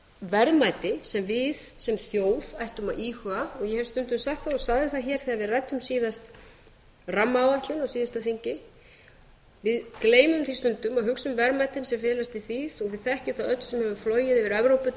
verðmæti sem við sem þjóð ættum að íhuga og ég hef stundum sagt og sagði það hér þegar við ræddum síðan rammaáætlun á síðasta þingi við gleymum því stundum að hugsa um verðmætin sem felast í því þó við þekkjum það öll sem höfum flogið yfir evrópu til